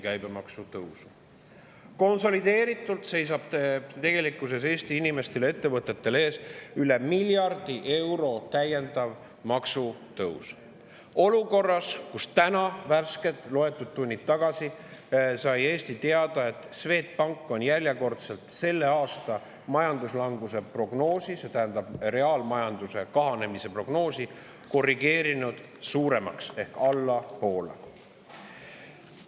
Eesti inimestel ja ettevõtetel seisab tegelikkuses ees konsolideeritult üle miljardi euro täiendav maksutõus, olukorras, kus täna loetud tunnid tagasi sai Eesti teada, et Swedbank on järjekordselt selle aasta majanduslanguse prognoosi ehk reaalmajanduse kahanemise prognoosi korrigeerinud suuremaks ehk allapoole.